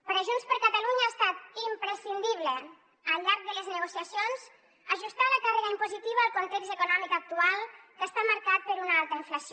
per a junts per catalunya ha estat imprescindible al llarg de les negociacions ajustar la càrrega impositiva al context econòmic actual que està marcat per una alta inflació